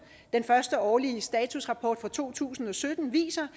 den første årlige statusrapport for to tusind og sytten viser